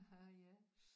Ja